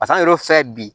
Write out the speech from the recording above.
Pas'an yɛrɛ filɛ bi